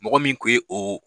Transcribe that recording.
Mɔgɔ min kun ye o.